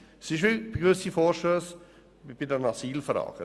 Es ist wie bei gewissen Vorstössen betreffend die Asylfragen.